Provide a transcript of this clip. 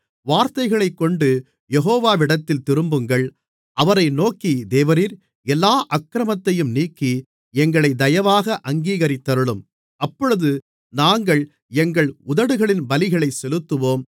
வார்த்தைகளைக்கொண்டு யெகோவாவிடத்தில் திரும்புங்கள் அவரை நோக்கி தேவரீர் எல்லா அக்கிரமத்தையும் நீக்கி எங்களைத் தயவாக அங்கீகரித்தருளும் அப்பொழுது நாங்கள் எங்கள் உதடுகளின் பலிகளைச் செலுத்துவோம்